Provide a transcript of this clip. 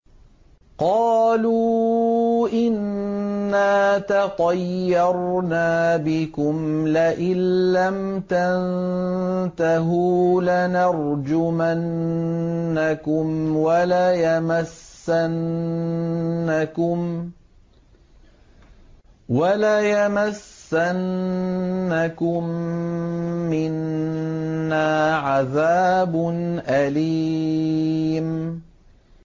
قَالُوا إِنَّا تَطَيَّرْنَا بِكُمْ ۖ لَئِن لَّمْ تَنتَهُوا لَنَرْجُمَنَّكُمْ وَلَيَمَسَّنَّكُم مِّنَّا عَذَابٌ أَلِيمٌ